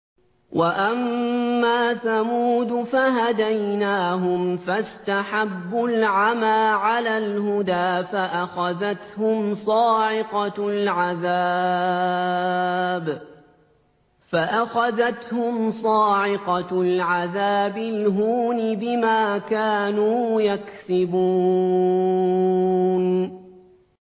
وَأَمَّا ثَمُودُ فَهَدَيْنَاهُمْ فَاسْتَحَبُّوا الْعَمَىٰ عَلَى الْهُدَىٰ فَأَخَذَتْهُمْ صَاعِقَةُ الْعَذَابِ الْهُونِ بِمَا كَانُوا يَكْسِبُونَ